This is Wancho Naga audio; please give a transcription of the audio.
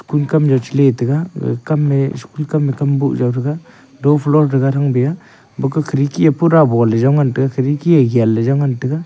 kum kam jaw chali taga gage kamye school kam kamboh jaw chali taga do ani floor thaga thang bia baka khirki ye pura bol jaw ngan taga khirki ye gan ngan taga.